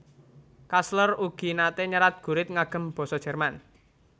Kastler ugi nate nyerat gurit ngagem basa Jerman